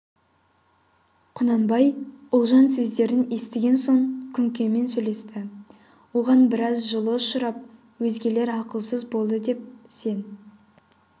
құнанбай ұлжан сөздерін естіген соң күнкемен сөйлесті оған біраз жылы ұшырап өзгелер ақылсыз болды деп сен